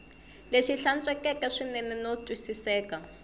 lexi hlantswekeke swinene no twisiseka